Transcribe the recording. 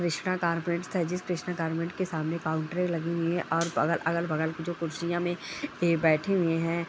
Krishna garments था जिस Krishna garments के सामने काउंटरे लगी हुई है और अ-अगल-बगल जो कुर्सियां में ए बैठे हुए हैं।